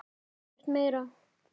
Ekkert meira?